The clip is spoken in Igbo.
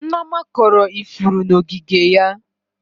Nneoma kọrọ ifuru n'ogige ya.